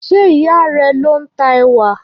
Ṣé ìyá a rẹ ló ń ta ẹ̀wà?